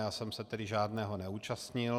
Já jsem se tedy žádného neúčastnil.